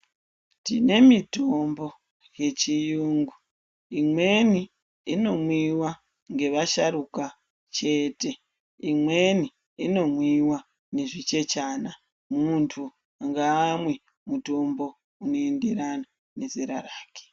Tine mitombo yechiyungu imweni inomwiwa ngevasharuka chete imweni inomwiwa nezvichechana mundu ngamwe mutombo unoenderana nezera rake.